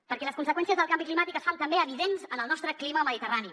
perquè les conseqüències del canvi climàtic es fan també evidents en el nostre clima mediterrani